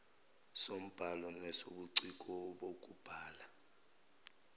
sombhalo nesobuciko bokubhala